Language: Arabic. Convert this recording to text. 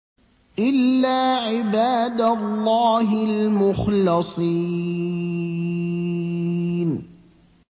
إِلَّا عِبَادَ اللَّهِ الْمُخْلَصِينَ